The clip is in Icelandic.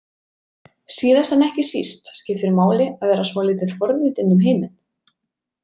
Síðast en ekki síst skiptir máli að vera svolítið forvitinn um heiminn.